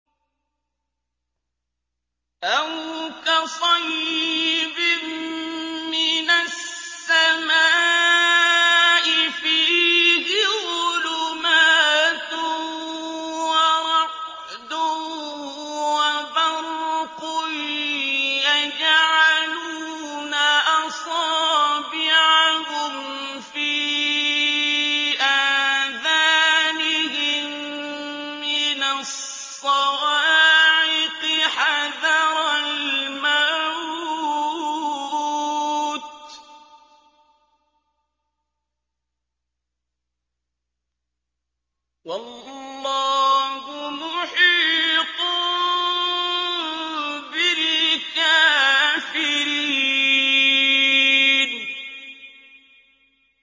أَوْ كَصَيِّبٍ مِّنَ السَّمَاءِ فِيهِ ظُلُمَاتٌ وَرَعْدٌ وَبَرْقٌ يَجْعَلُونَ أَصَابِعَهُمْ فِي آذَانِهِم مِّنَ الصَّوَاعِقِ حَذَرَ الْمَوْتِ ۚ وَاللَّهُ مُحِيطٌ بِالْكَافِرِينَ